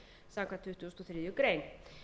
samkvæmt tuttugustu og þriðju grein